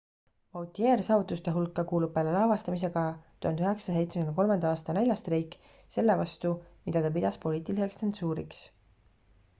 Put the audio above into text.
vautier' saavutuste hulka kuulub peale lavastamise ka 1973 aasta näljastreik selle vastu mida ta pidas poliitiliseks tsensuuriks